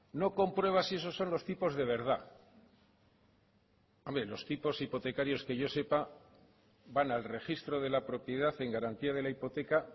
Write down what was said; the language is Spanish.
no comprueba si esos son los tipos de verdad hombre los tipos hipotecarios que yo sepa van al registro de la propiedad en garantía de la hipoteca